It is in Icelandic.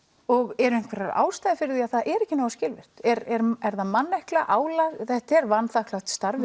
og eru einhverjar ástæður fyrir því að það er ekki nógu skilvirkt er er er það mannekla álag þetta er vanþakklátt starf